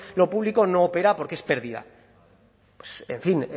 lo público no opera porque es pérdida en fin